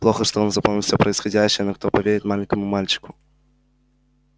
плохо что он запомнил все происходящее но кто поверит маленькому мальчику